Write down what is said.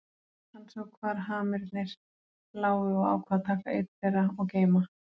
Hann sá hvar hamirnir lágu og ákvað að taka einn þeirra og geyma.